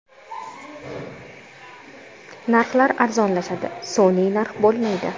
Narxlar arzonlashadi, sun’iy narx bo‘lmaydi.